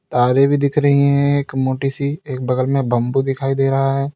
तारे भी दिख रही है एक मोटी सी एक बगल में बंबू दिखाई दे रहा है।